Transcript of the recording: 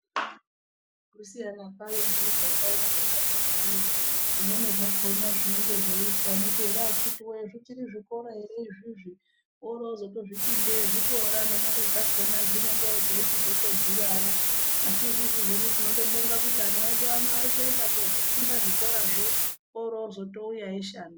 Kusiyana kwoyo nemiganga ino takanyagara zvimweni zvakona zvinenge zveiitwa unoti ere akitiwoye zvichiri zvikora ere izvizvi orotozozvitii ndege zvikora nemare dzakonawo dzinenge dzeichizotodhurawo asi isusu hedu tinondobonga kuti ana edu ano arikuenda kozvifunda zvikorazvo orozotouya eishanda.